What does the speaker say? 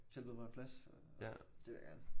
Tilbød mig en plads det vil jeg gerne